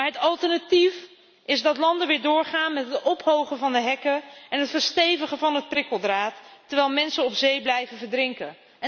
Maar het alternatief is dat landen weer doorgaan met het ophogen van de hekken en het verstevigen van het prikkeldraad, terwijl mensen op zee blijven verdrinken.